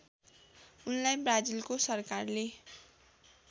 उनलाई ब्राजिलको सरकारले